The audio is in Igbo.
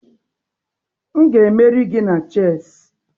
M ga-emeri gị na chessị